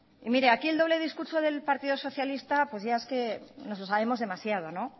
mire aquí el doble discurso del partido socialista es que ya nos lo sabemos demasiado